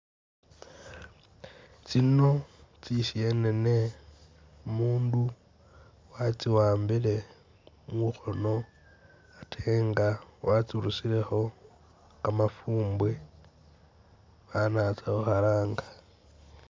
Tsino tsisenene umundu watsiwambile mukhono ate nga watsirusilekho kamafumbwe fana atsa khukhalanga.